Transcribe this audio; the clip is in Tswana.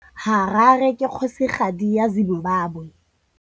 Harare ke kgosigadi ya Zimbabwe.